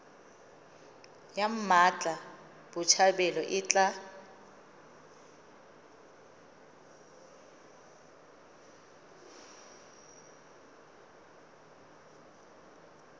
ya mmatla botshabelo e tla